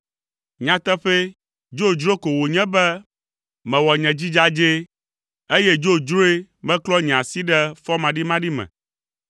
Nyateƒee, dzodzro ko wònye be mewɔ nye dzi dzadzɛ, eye dzodzroe meklɔ nye asi ɖe fɔmaɖimaɖi me.